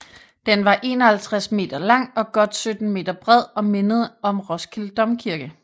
Den var 51 m lang og godt 17 m bred og mindede om Roskilde Domkirke